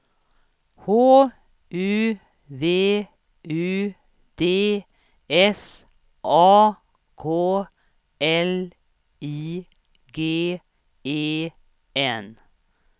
H U V U D S A K L I G E N